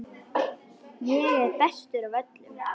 Ég er bestur af öllum!